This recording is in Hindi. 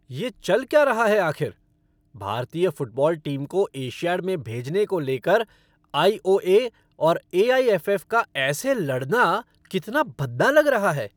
ये चल क्या रहा है आखिर? भारतीय फ़ुटबॉल टीम को एशियाड में भेजने को लेकर आई. ओ. ए. और ए. आई. एफ. एफ़. का ऐसे लड़ाना कितना भद्दा लग रहा है।